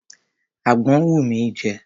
Àgbọn ń wù mí jẹ.